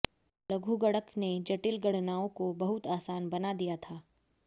लघुगणक ने जटिल गणनाओं को बहुत आसान बना दिया था